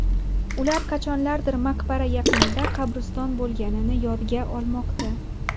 Ular qachonlardir maqbara yaqinida qabriston bo‘lganini yodga olmoqda.